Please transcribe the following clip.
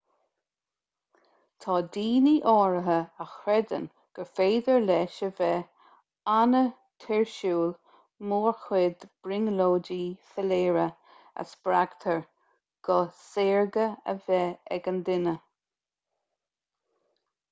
tá daoine áirithe a chreideann gur féidir leis a bheith an-tuirsiúil mórchuid brionglóidí soiléire a spreagtar go saorga a bheith ag an duine